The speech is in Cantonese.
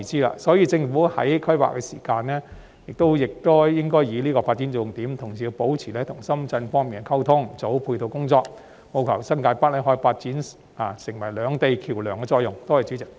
因此，政府在規劃時應該以此為發展重點，同時亦要保持與深圳方面溝通，做好配套工作，務求令新界北可以發揮接連兩地的橋樑作用。